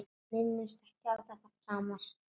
Minnist ekki á þetta framar.